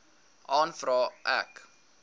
aanvaar ek